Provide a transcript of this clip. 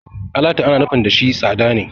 Alatu ana nufin da shi tsada ne.